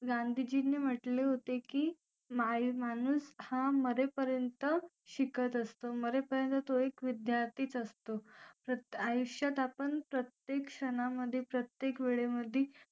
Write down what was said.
गांधीजींनी म्हटले होते की माय माणूस हा मरेपर्यंत शिकत असतो मरेपर्यंत तो एक विद्यार्थीच असतो आयुष्यात आपण प्रत्येक क्षणांमध्ये प्रत्येक वेळी मध्ये